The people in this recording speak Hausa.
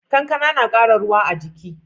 Kankana na kara ruwa a jiki